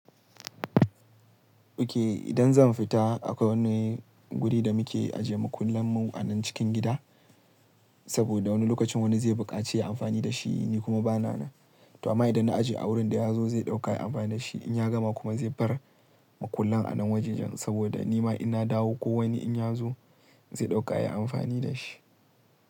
Okay, idan zan fita akwai wani guri da muke ajiye makullan mu a nan cikin gida, saboda wani lokacin wani zai buƙaci ya amfani da shi ni kuma bana nan. To amma idan na ajiye a wurin da ya zo zai ɗauka yai amfani da shi in ya gama kuma zai bar makullan a nan wajen jan saboda ni ma ina dawo ko wani in ya zo zai ɗaukayi amfani da shi.